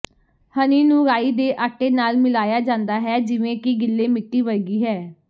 ਹਨੀ ਨੂੰ ਰਾਈ ਦੇ ਆਟੇ ਨਾਲ ਮਿਲਾਇਆ ਜਾਂਦਾ ਹੈ ਜਿਵੇਂ ਕਿ ਗਿੱਲੇ ਮਿੱਟੀ ਵਰਗੀ ਹੈ